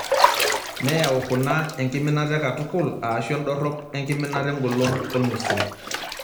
Neyau kuna enkiminata e katukul aashu endorop enkiminata engolon olng'usil.